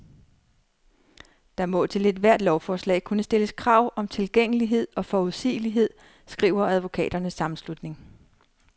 Der må til ethvert lovforslag kunne stilles krav om tilgængelighed og forudsigelighed, skriver advokaternes sammenslutning.